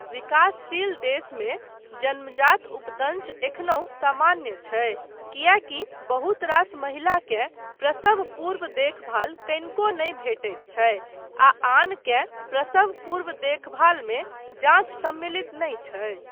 विकासशील देशमे जन्मजात उपदंश एखनहुँ सामान्य छै, किएकी बहुत रास महिलाकेँ प्रसव पूर्व देखभाल कनिको नहि भेटैत छै, आ आनकेँ प्रसव पूर्व देखभालमे जाँच सम्मिलित नहि छै।